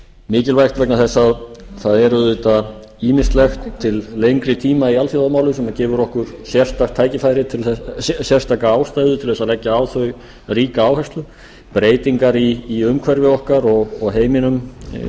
mikilvægt vegna þess að það er auðvitað ýmislegt til lengri tíma í alþjóðamálum sem gefur okkur sérstaka ástæðu til að leggja á þau ríka áherslu breytingar í umhverfi okkar og í heiminum